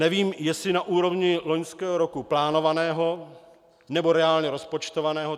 Nevím, jestli na úrovni loňského roku plánovaného, nebo reálně rozpočtovaného.